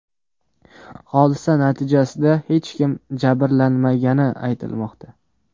Hodisa natijasida hech kim jabrlanmagani aytilmoqda.